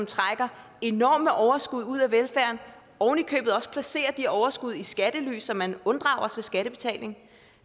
trækker enorme overskud ud af velfærden og oven i købet også placerer de overskud i skattely så man unddrager sig skattebetaling